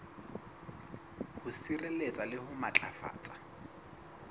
ho sireletsa le ho matlafatsa